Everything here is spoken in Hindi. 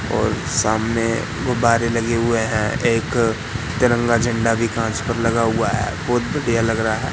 और सामने गुब्बारे लगे हुए हैं एक तिरंगा झंडा भी कांच पर लगा हुआ है बहोत बढ़िया लग रहा है।